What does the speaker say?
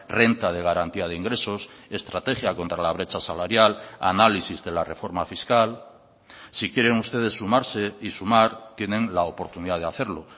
renta de garantía de ingresos estrategia contra la brecha salarial análisis de la reforma fiscal si quieren ustedes sumarse y sumar tienen la oportunidad de hacerlo